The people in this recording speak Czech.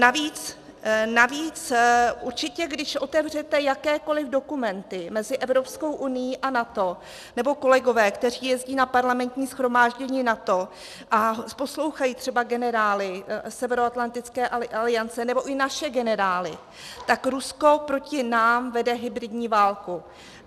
Navíc určitě když otevřete jakékoli dokumenty mezi Evropskou unií a NATO, nebo kolegové, kteří jezdí na Parlamentní shromáždění NATO a poslouchají třeba generály Severoatlantické aliance nebo i naše generály, tak Rusko proti nám vede hybridní válku.